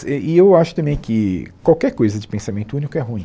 E eu acho também que qualquer coisa de pensamento único é ruim.